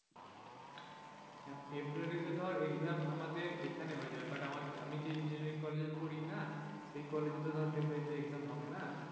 ফেব্রুয়ারিতে ধর exam এখানে আমাদের হয়ে যাবে আমি যে engineering কলেজে পড়িনা সেই college তো ধর ফেব্রুয়ারিতে exam হবে না